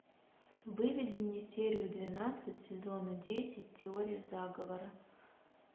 выведи мне серию двенадцать сезона десять теория заговора